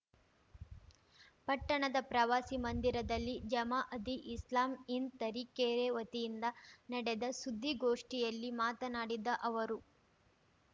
ಪಟ್ಟಣದ ಪ್ರವಾಸಿ ಮಂದಿರದಲ್ಲಿ ಜಮಾಅದಿ ಇಸ್ಲಾಮೀ ಹಿಂದ್‌ ತರೀಕೆರೆ ವತಿಯಿಂದ ನಡೆದ ಸುದ್ದಿಗೋಷ್ಠಿಯಲ್ಲಿ ಮಾತನಾಡಿದ ಅವರು